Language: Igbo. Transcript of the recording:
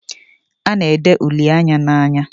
A na ere uli Anya n'anya